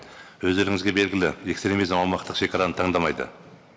өздеріңізге белгілі экстремизм аумақтық шегараны тандамайды